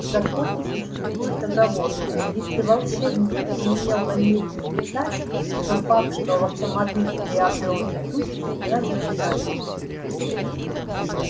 в законе существует оговорка если волшебник не имел намерения летать тот факт что автомобиль приобрёл летучесть не означает